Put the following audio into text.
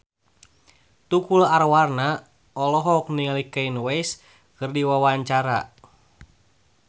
Tukul Arwana olohok ningali Kanye West keur diwawancara